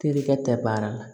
Terikɛ tɛ baara la